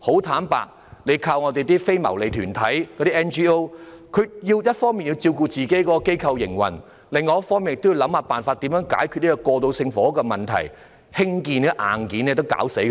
坦白說，不能只依賴非牟利團體，因為他們一方面要照顧其機構的營運，另一方面也要想辦法解決過渡性房屋的問題，單是興建這些硬件已令他們疲於奔命。